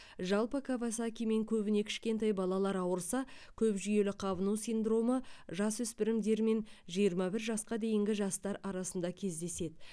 жалпы кавасакимен көбіне кішкентай балалар ауырса көпжүйелі қабыну синдромы жасөспірімдер мен жиырма бір жасқа дейінгі жастар арасында кездеседі